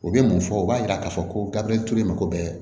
U bɛ mun fɔ u b'a yira k'a fɔ ko garibu ye mako bɛɛ